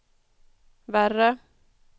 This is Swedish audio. värre